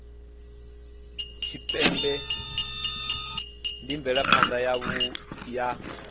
tshipembe ndi mvelaphana yavhui ya